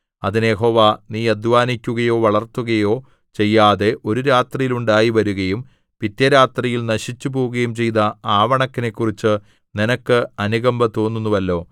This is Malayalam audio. അതിന് യഹോവ നീ അദ്ധ്വാനിക്കയോ വളർത്തുകയൊ ചെയ്യാതെ ഒരു രാത്രിയിൽ ഉണ്ടായി വരികയും പിറ്റേ രാത്രിയിൽ നശിച്ചുപോകയും ചെയ്ത ആവണക്കിനെക്കുറിച്ച് നിനക്ക് അനുകമ്പ തോന്നുന്നുവല്ലോ